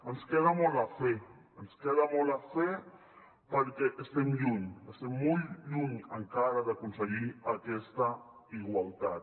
ens queda molt a fer ens queda molt a fer perquè estem lluny estem molt lluny encara d’aconseguir aquesta igualtat